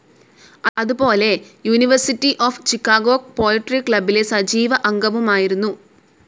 അതുപോലെ university of Chicago poetry ക്ലബ്ബിലെ സജീവ അംഗവുമായിരുന്നു.